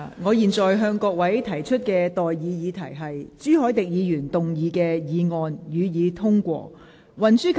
我現在向各位提出的待議議題是：朱凱廸議員動議的議案，予以通過。